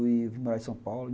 E eu vim morar em São Paulo.